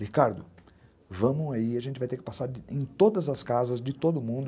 Ricardo, vamos aí, a gente vai ter que passar em todas as casas de todo mundo.